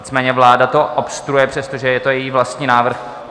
Nicméně vláda to obstruuje, přestože je to její vlastní návrh.